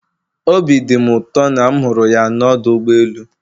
Obi dị m ụtọ na m hụrụ ya n'ọdụ ụgbọ elu.